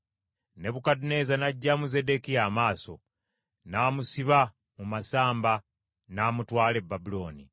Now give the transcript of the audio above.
Nebukadduneeza n’aggyamu Zeddekiya amaaso, n’amusiba mu masamba n’amutwala e Babulooni.